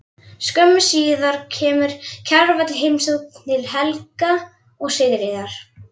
Skömmu síðar kemur Kjarval í heimsókn til Helga og Sigríðar.